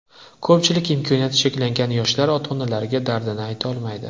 Ko‘pchilik imkoniyati cheklangan yoshlar ota-onalariga dardini aytolmaydi.